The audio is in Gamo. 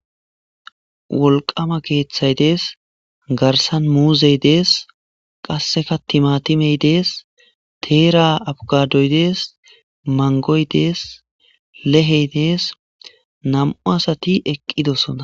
Wolqama keeththay dees garsan muuzey dees qasseka timatimey dees teera abugadoy dees mangoy dees lehey dees nam'u asati eqqidosona.